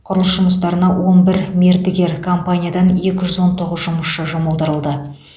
құрылыс жұмыстарына он бір мердігер компаниядан екі жүз он тоғыз жұмысшы жұмылдырылды